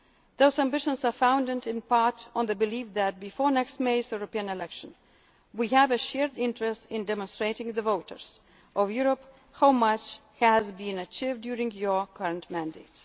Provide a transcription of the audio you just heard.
ambitions. Those ambitions are founded, in part, on the belief that, before next May's European elections, we have a shared interest in demonstrating to the voters of Europe how much has been achieved during your